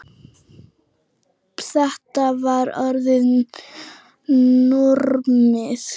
Þetta var orðið normið.